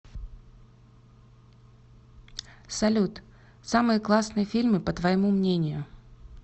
салют самые классные фильмы по твоему мнению